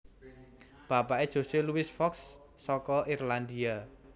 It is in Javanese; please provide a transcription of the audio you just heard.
Bapaké Jose Luis Fox saka Irlandia